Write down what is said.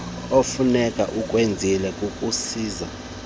okufuneka ukwenzile kukuzisa